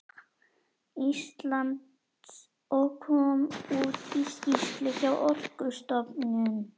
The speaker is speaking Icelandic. Íslands og kom út í skýrslu hjá Orkustofnun.